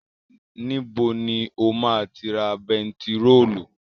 Níbo ni o ma ti ra bentiróòlù?